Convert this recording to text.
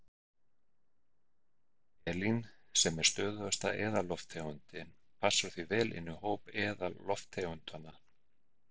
Ég hef ekki hugmynd um það hvar hann fékk þessa hugmynd.